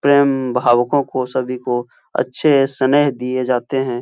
प्रेम भावको को सभी को अच्छे स्नेह दिए जाते हैं।